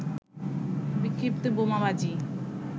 বিক্ষিপ্ত বোমাবাজি